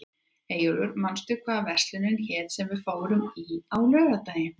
Eyjólfur, manstu hvað verslunin hét sem við fórum í á laugardaginn?